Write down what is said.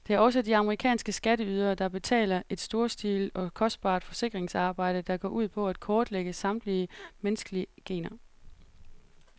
Det er også de amerikanske skatteydere, der betaler et storstilet og kostbart forskningsarbejde, der går ud på at kortlægge samtlige menneskelige gener.